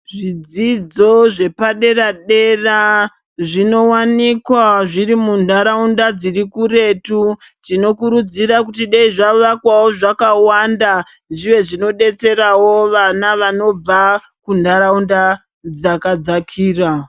Zvidzidzo zvepadera-dera zvinowanikwa zviri muntaraunda dzirikuretu. Tinokurudzira kuti dai zvavakwawo zvakawanda, zviwe zvinobatsirawo vana vanobva kuntaraunda dzakadzakira.